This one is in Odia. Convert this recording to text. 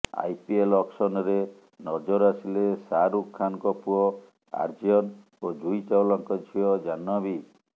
ଆଇପିଏଲ ଅକ୍ସନରେ ନଜର ଆସିଲେ ଶାହରୁଖ ଖାନଙ୍କ ପୁଅ ଆର୍ଯ୍ୟନ ଓ ଜୁହି ଚାୱଲାଙ୍କ ଝିଅ ଜାହ୍ନବୀ